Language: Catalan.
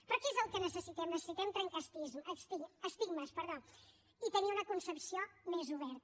però què és el que necessitem necessitem trencar estigmes i tenir una concepció més oberta